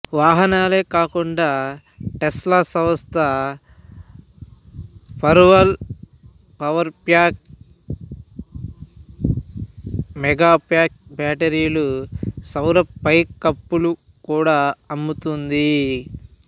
వాహనాలే కాకుండా టెస్లా సంస్థ Powerwall Powerpack Megapack బ్యాటరీలు సౌర పైకప్పులు కూడా అమ్ము తుంది